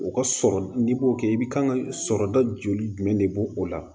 O ka sɔrɔ n'i b'o kɛ i bɛ kan ka sɔrɔda joli jumɛn de bɔ o la